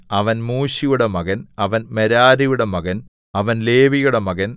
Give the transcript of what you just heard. അവൻ മൂശിയുടെ മകൻ അവൻ മെരാരിയുടെ മകൻ അവൻ ലേവിയുടെ മകൻ